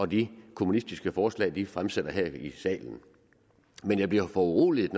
de kommunistiske forslag de fremsætter her i salen men jeg bliver foruroliget